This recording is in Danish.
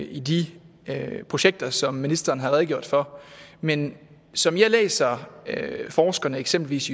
i de projekter som ministeren har redegjort for men som jeg læser forskerne eksempelvis